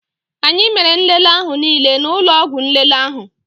Anyị mere nlele ahụ niile n'ụlọ ọgwụ nlele ahụ